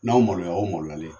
N'aw maloya , o ye maloyalen ye.